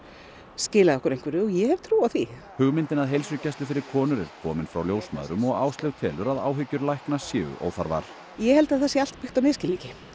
skilað okkur einhverju og ég hef trú á því hugmyndin að heilsugæslu fyrir konur er komin frá ljósmæðrum og Áslaug telur að áhyggjur lækna séu óþarfar ég held að það sé allt byggt á misskilningi